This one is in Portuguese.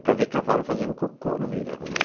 É para ver cavalo fazendo cocô no meio da rua.